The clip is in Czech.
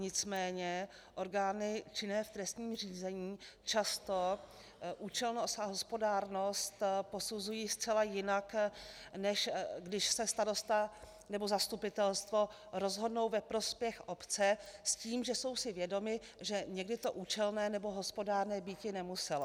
Nicméně orgány činné v trestním řízení často účelnost a hospodárnost posuzují zcela jinak, než když se starosta nebo zastupitelstvo rozhodnou ve prospěch obce s tím, že jsou si vědomi, že někdy to účelné nebo hospodárné býti nemuselo.